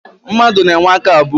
Mmadụ na-enwe aka abụọ.